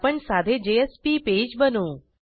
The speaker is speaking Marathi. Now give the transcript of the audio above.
आपण साधे जेएसपी पेज बनवू